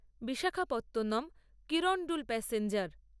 Visakhapatnam Kirandul passenger